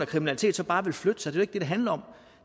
kriminaliteten bare vil flytte sig det ikke det det handler om